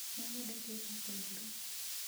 Nĩ nyendete iraatũ njirũ